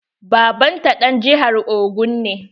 Baban ta ɗan jihar Ogun ne.